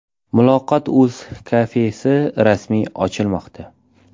Muloqot.Uz kafesi rasmiy ochilmoqda.